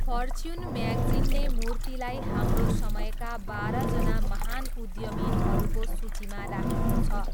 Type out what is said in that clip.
Fortune म्यागजिनले मूर्तिलाई हाम्रो समयका बाह्रजना महान उद्यमीहरूको सूचीमा राखेको छ।